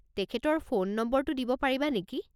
তেখেতৰ ফোন নম্বৰটো দিব পাৰিবা নেকি?